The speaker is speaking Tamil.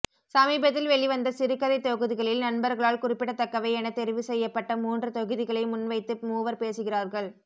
சமீபத்தில் வெளிவந்த சிறுகதைத் தொகுதிகளில் நண்பர்களால் குறிப்பிடத்தக்கவை என தெரிவுசெய்யப்பட்ட மூன்று தொகுதிகளை முன்வைத்து மூவர் பேசுகிறார்கள்